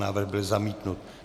Návrh byl zamítnut.